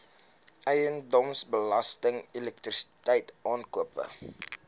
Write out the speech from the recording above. eiendomsbelasting elektrisiteit aankope